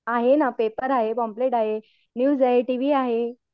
आहे ना पेपर आहे पॉम्पलेट आहे न्यूज आहे टीवी आहे.